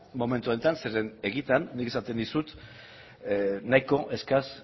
momentu honetan zeren egitan nik esaten dizut nahiko eskas